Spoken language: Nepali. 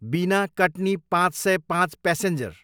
बिना, कट्नी पाँच सय पाँच प्यासेन्जर